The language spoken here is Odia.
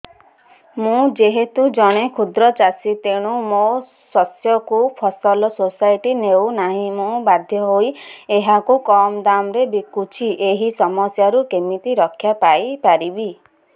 ମୁଁ ଯେହେତୁ ଜଣେ କ୍ଷୁଦ୍ର ଚାଷୀ ତେଣୁ ମୋ ଶସ୍ୟକୁ ଫସଲ ସୋସାଇଟି ନେଉ ନାହିଁ ମୁ ବାଧ୍ୟ ହୋଇ ଏହାକୁ କମ୍ ଦାମ୍ ରେ ବିକୁଛି ଏହି ସମସ୍ୟାରୁ କେମିତି ରକ୍ଷାପାଇ ପାରିବି